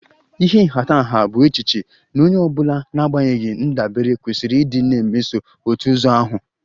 Ịha nhatanha bụ echiche na onye ọ bụla n'agbanyeghị ndabere kwesịrị ịdị na-emeso otu ụzọ ahụ